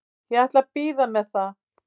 Ég ætla að bíða með það.